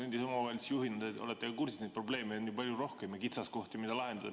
Endise omavalitsusjuhina olete kursis, et neid probleeme ja kitsaskohti, mida lahendada, on palju rohkem.